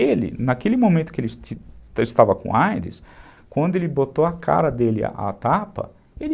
Ele, naquele momento que ele estava com aides, quando ele botou a cara dele à tapa, ele...